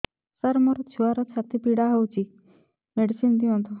ସାର ମୋର ଛୁଆର ଛାତି ପୀଡା ହଉଚି ମେଡିସିନ ଦିଅନ୍ତୁ